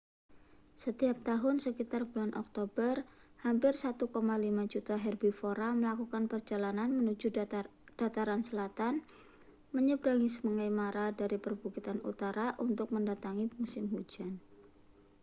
setiap tahun sekitar bulan oktober hampir 1,5 juta herbivora melakukan perjalanan menuju dataran selatan menyeberangi sungai mara dari perbukitan utara untuk mendatangi musim hujan